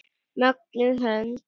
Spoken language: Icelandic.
Mögnuð hönd.